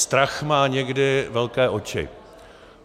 Strach má někdy velké oči.